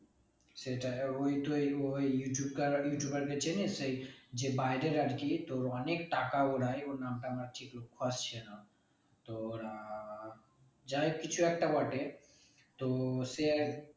সেটাই ওই তো এই ওই ইউটিউবারকে চিনিস এই যে বাইরের আরকি তোর অনেক টাকা ওরাই ওর নামটা আমার ঠিক তোর আহ যাই কিছু একটা বটে তো সে